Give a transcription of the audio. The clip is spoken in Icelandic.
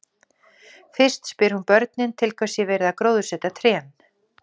Fyrst spyr hún börnin til hvers sé verið að gróðursetja trén.